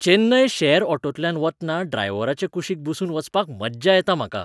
चेन्नय शॅर ऑटोंतल्यान वतना ड्रायव्हराचे कुशीक बसून वचपाक मज्जा येता म्हाका.